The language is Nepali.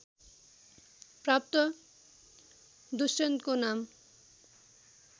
प्राप्त दुष्यन्तको नाम